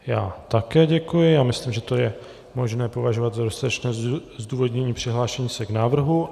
Já také děkuji a myslím, že to je možné považovat za dostatečné zdůvodnění přihlášení se k návrhu.